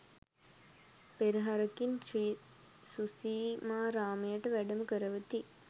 පෙරහරකින් ශ්‍රී සුසීමාරාමයට වැඩම කරවති.